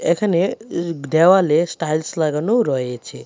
এখানে এ দেওয়ালে স্টাইলস লাগানো রয়েছে।